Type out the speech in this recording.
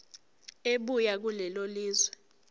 ebuya kulelo lizwe